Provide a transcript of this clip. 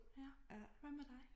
Ja hvad med dig?